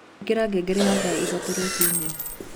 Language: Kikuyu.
ĩkĩra ngengere ya thaa ĩthatũ rũcĩĩnĩ